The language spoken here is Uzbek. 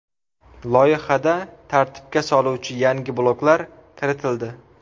Loyihada tartibga soluvchi yangi bloklar kiritildi.